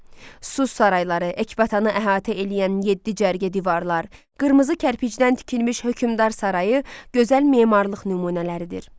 Su sarayları, Ekbatanı əhatə eləyən yeddi cərgə divarlar, qırmızı kərpicdən tikilmiş hökümdar sarayı gözəl memarlıq nümunələridir.